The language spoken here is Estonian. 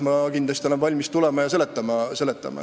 Ma olen kindlasti valmis tulema ja neid selgitama.